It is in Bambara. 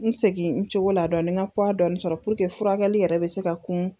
N segi n cogo la dɔni n g'a puwa dɔɔni sɔrɔ puruke furakɛli yɛrɛ be se ka kun